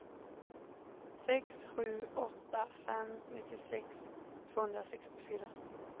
sex sju åtta fem nittiosex tvåhundrasextiofyra